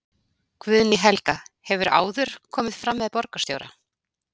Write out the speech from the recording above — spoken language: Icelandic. Guðný Helga: Hefurðu áður komið fram með borgarstjóra?